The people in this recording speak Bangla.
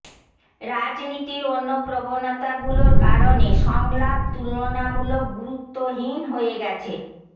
রাজনীতির অন্য প্রবণতাগুলোর কারণে সংলাপ তুলনামূলক গুরুত্বহীন হয়ে গেছে